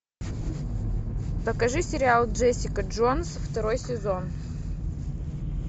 покажи сериал джессика джонс второй сезон